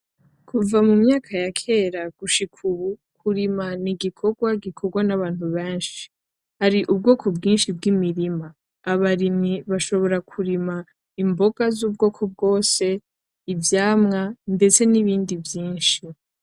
Kuva mumyaka yakera gushika ubu kurima ni igikorwa gikorwa nabantu benshi ,hari ubwoko bwinshi bwimirima, abarimyi bashobora kurima imboga zubwoko bwose ivyamwa nzetse nibindi vyinshi